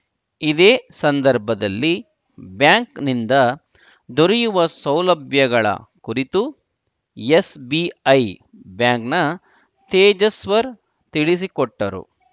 ಇದೇ ಸಂದರ್ಭದಲ್ಲಿ ಬ್ಯಾಂಕ್‌ನಿಂದ ದೊರೆಯುವ ಸೌಲಭ್ಯಗಳ ಕುರಿತು ಎಸ್‌ಬಿಐ ಬ್ಯಾಂಕ್‌ನ ತೇಜಸ್ವರ್‌ ತಿಳಿಸಿಕೊಟ್ಟರು